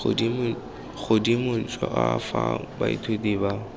godimo jwa fa baithuti ba